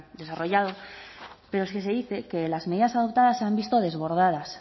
desarrollado pero es que se dice que las medidas adoptadas se han visto desbordados